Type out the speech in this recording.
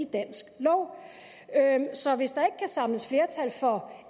dansk lov så hvis der ikke samles flertal for